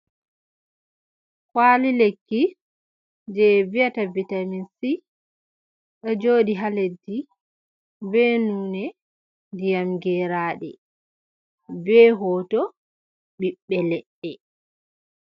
Kwali lekki, je vi'ata bitaminsi ɗo jodi ha leddi be nonde ndiyam geraɗe, be hoto ɓiɓbe leɗɗe.